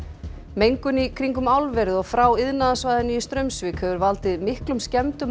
mengun í kringum álverið og frá iðnaðarsvæðinu í Straumsvík hefur valdið miklum skemmdum